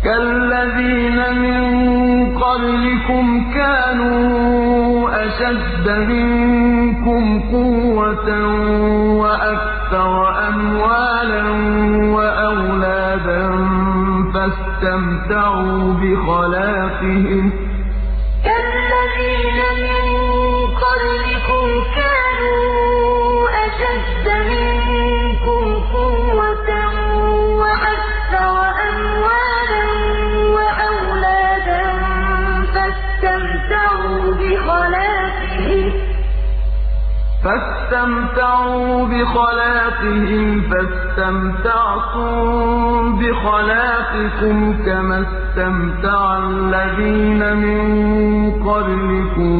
كَالَّذِينَ مِن قَبْلِكُمْ كَانُوا أَشَدَّ مِنكُمْ قُوَّةً وَأَكْثَرَ أَمْوَالًا وَأَوْلَادًا فَاسْتَمْتَعُوا بِخَلَاقِهِمْ فَاسْتَمْتَعْتُم بِخَلَاقِكُمْ كَمَا اسْتَمْتَعَ الَّذِينَ مِن قَبْلِكُم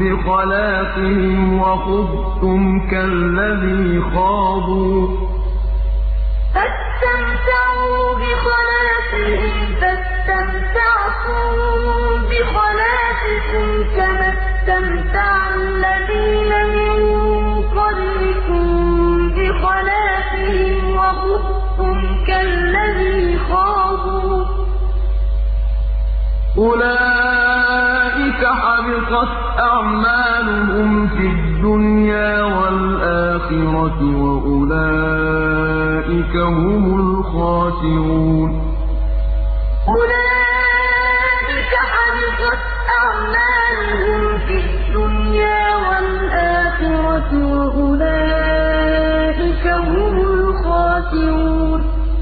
بِخَلَاقِهِمْ وَخُضْتُمْ كَالَّذِي خَاضُوا ۚ أُولَٰئِكَ حَبِطَتْ أَعْمَالُهُمْ فِي الدُّنْيَا وَالْآخِرَةِ ۖ وَأُولَٰئِكَ هُمُ الْخَاسِرُونَ كَالَّذِينَ مِن قَبْلِكُمْ كَانُوا أَشَدَّ مِنكُمْ قُوَّةً وَأَكْثَرَ أَمْوَالًا وَأَوْلَادًا فَاسْتَمْتَعُوا بِخَلَاقِهِمْ فَاسْتَمْتَعْتُم بِخَلَاقِكُمْ كَمَا اسْتَمْتَعَ الَّذِينَ مِن قَبْلِكُم بِخَلَاقِهِمْ وَخُضْتُمْ كَالَّذِي خَاضُوا ۚ أُولَٰئِكَ حَبِطَتْ أَعْمَالُهُمْ فِي الدُّنْيَا وَالْآخِرَةِ ۖ وَأُولَٰئِكَ هُمُ الْخَاسِرُونَ